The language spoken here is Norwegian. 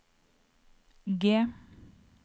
G